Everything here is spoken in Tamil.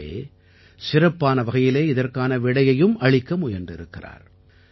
கூடவே சிறப்பான வகையிலே இதற்கான விடையையும் அளிக்க முயன்றிருக்கிறார்